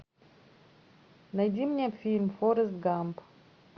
найди мне фильм форрест гамп